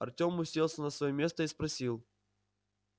артём уселся на своё место и спросил